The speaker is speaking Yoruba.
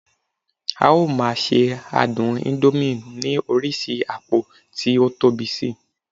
a o ma se adun indomie ni oríṣi apo ti o Tobi Si